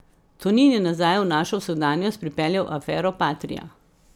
Tonin je nazaj v našo vsakdanjost pripeljal afero Patrija.